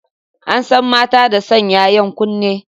An san mata da sanya 'yan kunne.